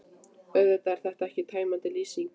Auðvitað er þetta ekki tæmandi lýsing.